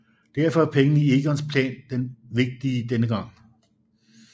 Derfor er pengene i Egons plan vigtige denne gang